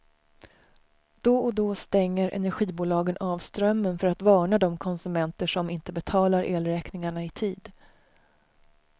Då och då stänger energibolagen av strömmen för att varna de konsumenter som inte betalar elräkningarna i tid.